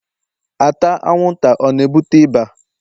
ata anwụnta ọ na-ebute ịba?